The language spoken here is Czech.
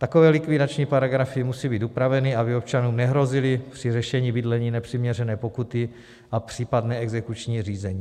Takové likvidační paragrafy musí být upraveny, aby občanům nehrozily při řešení bydlení nepřiměřené pokuty a případné exekuční řízení.